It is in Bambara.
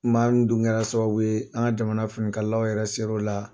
maa min dun kɛra sababu ye an ka jamana finikalaw yɛrɛ ser'o la.